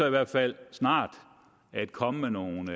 i hvert fald snart komme med nogle